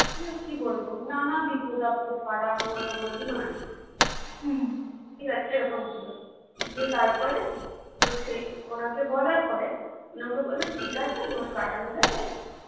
কি বলবো নানা বিপদ-আপদ ফারা ওর আমার দুজনারই ঠিক আছে এরকম ছিল দিয়ে তারপরে তো সেই ওনাকে বলার পরে উনি আমাকে বললো ঠিক আছে দোষ কাটানো যাবে